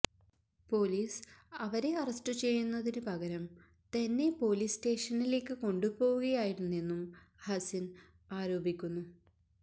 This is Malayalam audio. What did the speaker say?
പോലീസ് അവരെ അറസ്റ്റ് ചെയ്യുന്നതിന് പകരം തന്നെ പോലീസ് സ്റ്റേഷനിലേക്ക് കൊണ്ടുപോവുകയായിരുന്നെന്നും ഹസിന് ആരോപിക്കുന്നു